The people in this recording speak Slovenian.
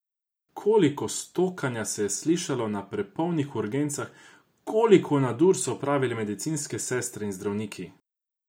Koliko stokanja se je slišalo na prepolnih urgencah, koliko nadur so opravili medicinske sestre in zdravniki?